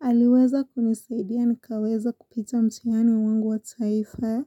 Aliweza kunisaidia nikaweza kupita mtihani wangu wa taifa.